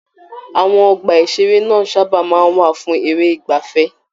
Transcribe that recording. Àwọn ọgbà-ìṣeré náà sábà máa ń wà fún eré ìgbaafẹ́.